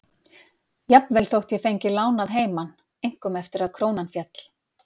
Jafnvel þótt ég fengi lán að heiman, einkum eftir að krónan féll.